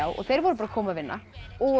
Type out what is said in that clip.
og þeir voru að koma að vinna og